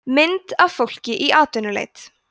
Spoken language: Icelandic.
mynd af fólki í atvinnuleit